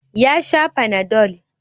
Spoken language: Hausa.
Ya sha panadol.